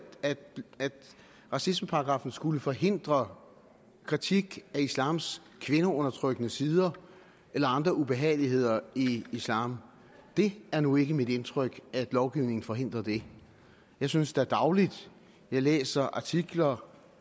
racismeparagraffen skulle forhindre kritik af islams kvindeundertrykkende sider eller andre ubehageligheder i islam det er nu ikke mit indtryk at lovgivningen forhindrer det jeg synes da dagligt læser artikler og